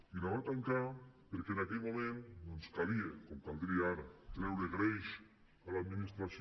i la va tancar perquè en aquell moment doncs calia com caldria ara treure greix a l’administració